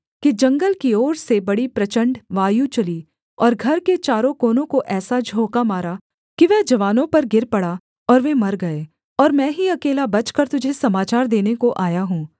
कि जंगल की ओर से बड़ी प्रचण्ड वायु चली और घर के चारों कोनों को ऐसा झोंका मारा कि वह जवानों पर गिर पड़ा और वे मर गए और मैं ही अकेला बचकर तुझे समाचार देने को आया हूँ